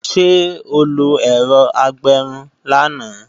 Ṣé o lo ẹ̀rọ agbẹrun lánàá?